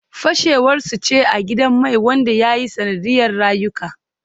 Fashewar su ce a gidan mai wanda ya yi sanadiyar rayuka